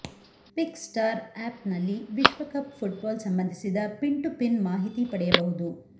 ಪಿಕ್ star app ನಲ್ಲಿ ವಿಶ್ವಕಪ್ football ಸಂಬಂಧಿಸಿದ ಪಿನ್ ಟು ಪಿನ್ ಮಾಹಿತಿ ಪಡೆಯಬಹುದು